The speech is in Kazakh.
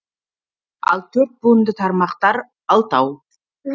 ал төрт буынды тармақтар алтау